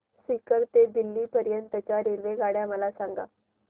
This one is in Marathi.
सीकर ते दिल्ली पर्यंत च्या रेल्वेगाड्या मला सांगा